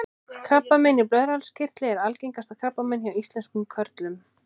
krabbamein í blöðruhálskirtli er algengasta krabbamein hjá íslenskum körlum